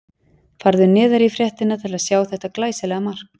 Farðu neðar í fréttina til að sjá þetta glæsilega mark.